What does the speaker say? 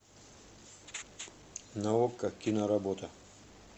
на окко киноработа